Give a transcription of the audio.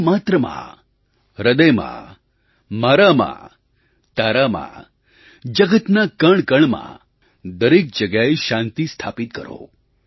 જીવમાત્રમાં હૃદયમાં મારામાં તારામાં જગતના કણકણમાં દરેક જગ્યાએ શાંતિ સ્થાપિત કરો